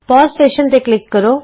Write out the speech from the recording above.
pause session ਤੇ click ਕਰੋ